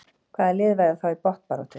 Hvaða lið verða þá í botnbaráttu?